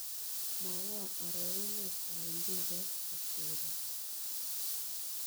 Mwawon arorunetap mpiretap ateruut